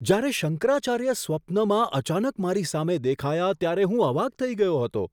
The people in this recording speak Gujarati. જ્યારે શંકરાચાર્ય સ્વપ્નમાં અચાનક મારી સામે દેખાયા ત્યારે હું અવાક થઈ ગયો હતો.